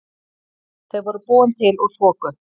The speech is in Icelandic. Þau voru búin til úr þoku.